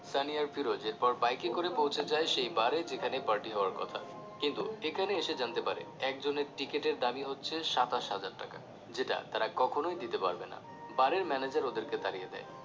সানি আর ফিরোজ এর পর বাইকে করে পৌছে যায় সেই বারে যেখানে Party হওয়ার কথা কিন্তু এখানে এসে জানতে পারে একজনের টিকেটের দামই হচ্ছে সাতাশ হাজার টাকা যেটা তারা কখনোই দিতে পারবে না bar র manager ওদেরকে তাড়িয়ে দেয়